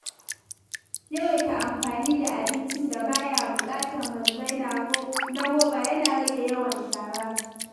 Yawaita amfani da abincin da ba ya buƙatar mazubai na roba yana rage yawan shara.